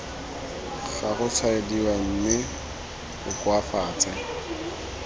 ga gotshwaediwa mme o koafatse